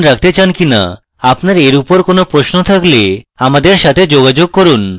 আপনার এর উপর কোনো প্রশ্ন থাকলে আমার সাথে যোগাযোগ করুন